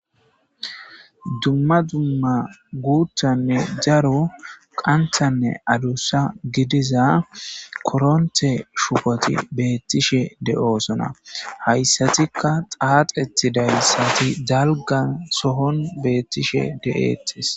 dumma dumma guuttanne daro qanthanne adussa gidiza koronte shupoti beettishe de7oosona hayssatikka xaaxeti dayssati dalgan sohon beettishe de7eettes